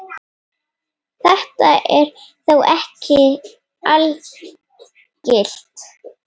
Þetta er þó ekki algilt.